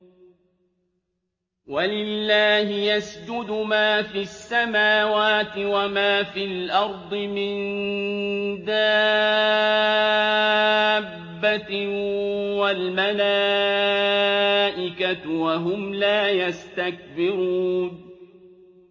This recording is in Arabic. وَلِلَّهِ يَسْجُدُ مَا فِي السَّمَاوَاتِ وَمَا فِي الْأَرْضِ مِن دَابَّةٍ وَالْمَلَائِكَةُ وَهُمْ لَا يَسْتَكْبِرُونَ